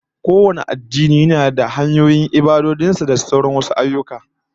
Kowane addini yana da hanyoyin ibadojin sa da sauran ayyuka